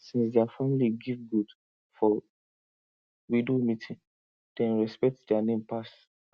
since their family give goat for widow meeting dem respect their name pass